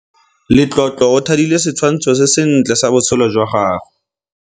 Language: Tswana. Letlotlo o thadile setshwantshô se sentle sa botshelo jwa gagwe.